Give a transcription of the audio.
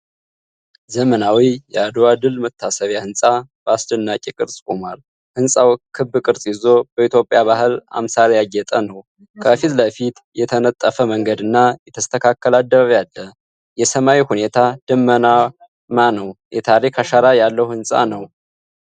ዘመናዊ የአድዋ ድል መታሰቢያ ህንፃ በአስደናቂ ቅርፅ ቆሟል። ህንፃው ክብ ቅርጽ ይዞ በኢትዮጵያ ባህል አምሳል ያጌጠ ነው። ከፊት ለፊቱ የተነጠፈ መንገድና የተስተካከለ አደባባይ አለ። የሰማዩ ሁኔታ ደመናማ ነው። የታሪክ አሻራ ያለው ሕንፃ ነው።